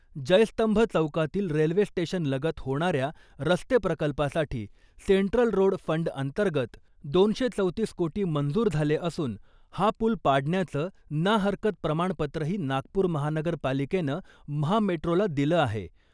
जयस्तंभ चौकातील रेल्वे स्टेशनलगत होणाऱ्या रस्ते प्रकल्पासाठी सेंट्रल रोड फंड अंतर्गत दोनशे चौतीस कोटी मंजूर झाले असून, हा पुल पाडण्याचं ना हरकत प्रमाणपत्रही नागपूर महानगरपालिकेनं महामेट्रोला दिलं आहे.